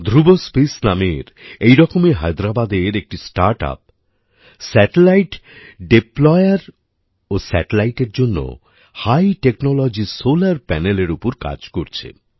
Dhruva Space নামের এরকমই হায়দেরাবাদের একটি স্টার্টআপ স্যাটেলাইট ডিপ্লয়ের ও স্যাটেলাইট এর জন্য হাই টেকনোলজি সোলার প্যানেল এর উপর কাজ করছে